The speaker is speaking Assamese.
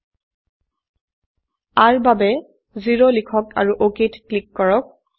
r ৰ বাবে 0 লিখক আৰু অক ক্লিক কৰক